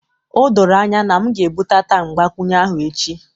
O doro anya na m ga-ebudata mgbakwunye ahụ echi